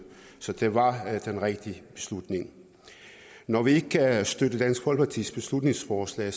så det var den rigtige beslutning når vi ikke kan støtte dansk folkepartis beslutningsforslag